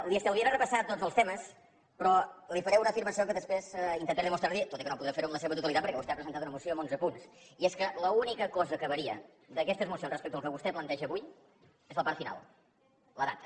li estalviaré repassar tots els temes però li faré una afirmació que després intentaré demostrar li tot i que no podré fer ho en la seva totalitat perquè vostè ha presentat una moció amb onze punts i és que l’única cosa que varia d’aquestes mocions respecte al que vostè planteja avui és la part final la data